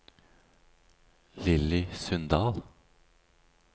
Lilly Sundal